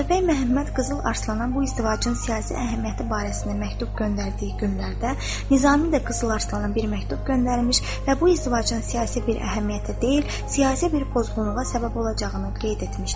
Atabəy Məhəmməd Qızıl Arslana bu izdivacın siyasi əhəmiyyəti barəsində məktub göndərdiyi günlərdə, Nizami də Qızıl Arslana bir məktub göndərmiş və bu izdivacın siyasi bir əhəmiyyəti deyil, siyasi bir pozğunluğa səbəb olacağını demişdi.